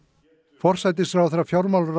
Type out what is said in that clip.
forsætisráðherra fjármálaráðherra